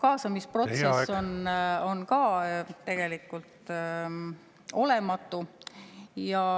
Ja kaasamisprotsess on ka tegelikult olematu.